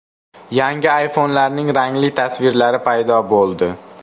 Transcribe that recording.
Yangi iPhone’larning rangli tasvirlari paydo bo‘ldi .